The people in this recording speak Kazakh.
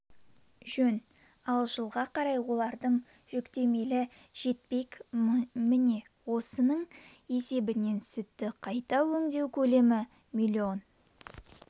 жөн ал жылға қарай олардың жүктелімі жетпек міне осының есебінен сүтті қайта өңдеу көлемі миллион